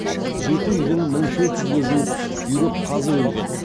жеті үйдің мың төрт жүзге жуық үйрек қазы өлген